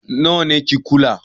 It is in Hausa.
Nawa ne kikuli